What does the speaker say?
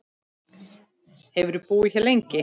Hefurðu búið hér lengi?